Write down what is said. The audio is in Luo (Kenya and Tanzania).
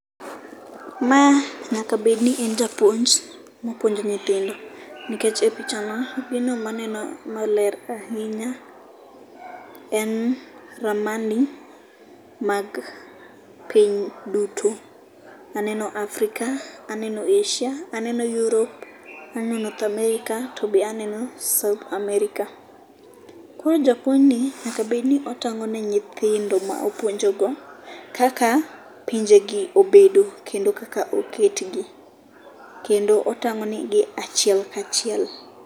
Ma nyaka bedni en japuonj mapuonjo nyithindo nikech e picha no ma, gino maneno maler ahinya en ramani mag piny duto, aneno Africa ,aneno Asia, aneno Europe, aneno North America, to be aneno south America. Koro japuonjni nyaka bedni otang'o ne nyithindo ma opuonjogo kaka pinjegi obedo kendo kaka oketgi. Kendo otang'o negi achiel kachiel.